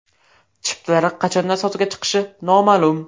Chiptalar qachondan sotuvga chiqishi noma’lum.